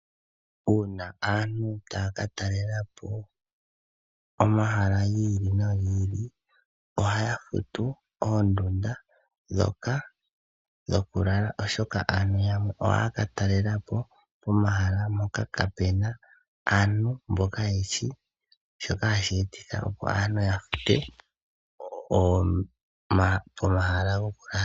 Uuna aantu taya ka telelapo omahala giili nogiili, ohaya futu oondunda dhoka dhokulala oshoka aantu yamwe ohaya ka talelapo momahala moka kaapena aantu mboka yeshi shoka hashi e ti tha opo nee ya fute omahala gokulala.